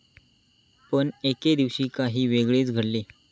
पण एके दिवशी काही वेगळेच घडले.